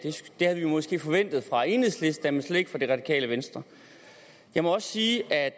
det havde vi måske forventet fra enhedslisten men slet ikke fra det radikale venstre jeg må også sige at